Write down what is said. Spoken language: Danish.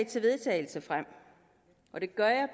til vedtagelse og det gør jeg